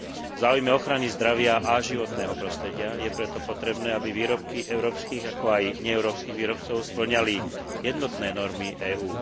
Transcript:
V záujme ochrany zdravia a životného prostredia je preto potrebné, aby výrobky európskych, ako aj neeurópskych výrobcov spĺňali jednotné normy EÚ.